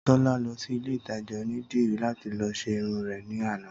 Tólá lọsí ilé ìtajà onídìrí láti lọ ṣe irun rè ní àná